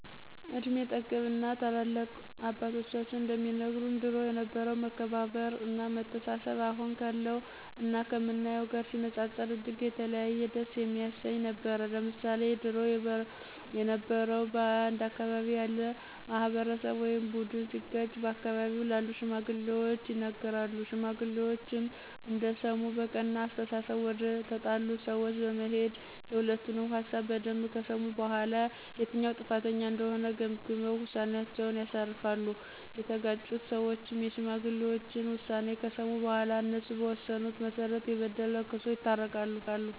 እድሜ ጠገብ እና ታላላቅ አባቶቻችን እንደሚነግሩን ድሮ የነበረው መከባበር እና መተሳሰብ አሁን ካለው እና ከምናየው ጋር ሲነጻጸር እጅግ የተለየ ደስ የሚያሰኝ ነበር። ለምሳሌ ድሮ የበረው በአንድ አካባቢ ያለ ማህበረሰብ ወይም ቡድን ሲጋጭ በአካባቢው ላሉ ሽማግሌዎች ይነገራሉ ሽማግሌዎችም እንደሰሙ በቀና አስተሳሰብ ወደተጣሉት ሰወች በመሄድና የሁለቱንም ሀሳብ በደንብ ከሰሙ በኋላ የትኛው ጥፋተኛ እንደሆነ ገምግመው ውሳኔአቸውን ያሳርፋሉ፤ የተጋጩት ሰዎችም የሽማግሌዎችን ውሳኔ ከሰሙ በኋላ እነሱ በወሰኑት መሰረት የበደለ ክሶ ይታረቃሉ።